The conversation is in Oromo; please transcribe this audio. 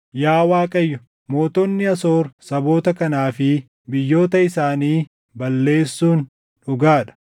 “Yaa Waaqayyo mootonni Asoor saboota kanaa fi biyyoota isaanii balleessuun dhugaa dha.